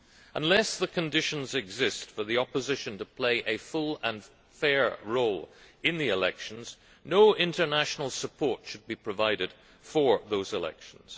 Unless the conditions exist for the opposition to play a full and fair role in the elections, no international support should be provided for those elections.